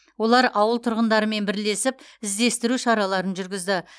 олар ауыл тұрғындарымен бірлесіп іздестіру шараларын жүргізді